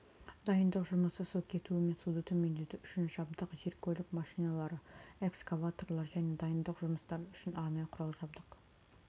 дайындық жұмысы су кетуі мен суды төмендету үшін жабдық жер-көлік машиналары экскаваторлар және дайындық жұмыстары үшін арнайы құрал-жабдық